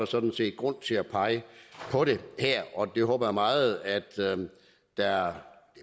sådan set grund til at pege på det her og jeg håber meget at det er